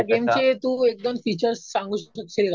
या गेमचे तू एक-दोन फीचर्स सांगू शकशील का?